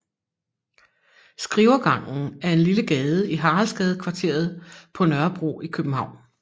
Skrivergangen er en lille gade i Haraldsgadekvarteret på Nørrebro i København